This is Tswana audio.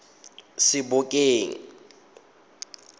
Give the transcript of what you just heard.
sebokeng